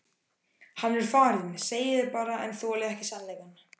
Hann er farinn segið þið bara en þolið ekki sannleikann.